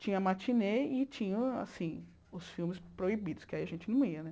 Tinha a matinê e tinha assim os filmes proibidos, que aí a gente não ia né.